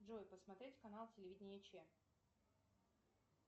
джой посмотреть канал телевидения че